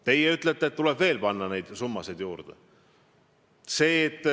Teie ütlete, et tuleb veel panna teadusse summasid juurde.